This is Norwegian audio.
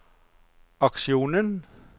aksjonen